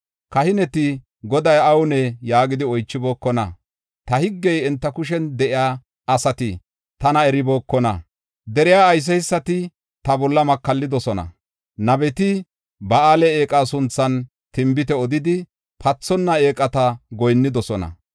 Kahineti, “Goday awunee?” yaagidi oychibookona. Ta higgey enta kushen de7iya asati tana eribookona. Deriya ayseysati ta bolla makallidosona. Nabeti Ba7aale eeqa sunthan tinbite odidi pathonna eeqata goyinnidosona.